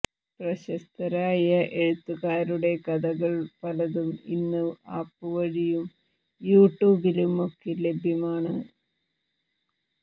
പ്രശസ്തരായ എഴുത്തുകാരുടെ കഥകൾ പലതും ഇന്ന് ആപ്പ് വഴിയും യൂട്യുബിലും ഒക്കെ ലഭ്യമാണ്